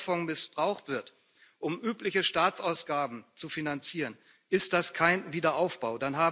Wenn dieser Fonds missbraucht wird, um übliche Staatsausgaben zu finanzieren, ist das kein Wiederaufbau.